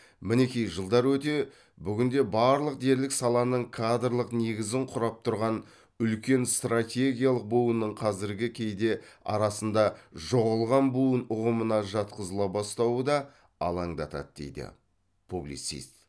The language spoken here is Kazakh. мінеки жылдар өте бүгінде барлық дерлік саланың кадрлық негізін құрап тұрған үлкен стратегиялық буынның қазіргі кейде арасында жоғалған буын ұғымына жатқызыла бастауы да алаңдатады дейді публицист